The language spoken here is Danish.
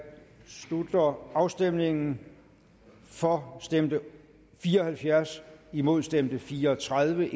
slutter afstemningen for stemte fire og halvfjerds imod stemte fire og tredive